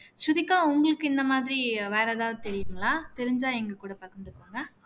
ஸ்ருதிகா உங்களுக்கு இந்த மாதிரி வேற எதாவது தெரியுங்களா தெரிஞ்சா எங்க கூட பகிர்ந்துக்கோங்க